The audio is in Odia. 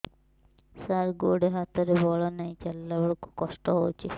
ସାର ଗୋଡୋ ହାତରେ ବଳ ନାହିଁ ଚାଲିଲା ବେଳକୁ କଷ୍ଟ ହେଉଛି